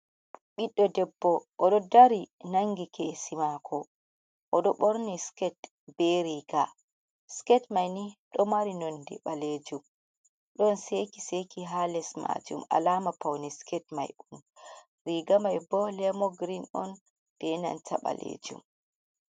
Ɓiɗdo debbo oɗo dari nangi kesi maako, oɗo ɓorni siket be riga siket maini ɗo mari nonde ɓalejum ɗon seki seki ha les majum, alaama paune siket mai on, riiga mai bo lemogirin on ɓe nanta ɓalejum.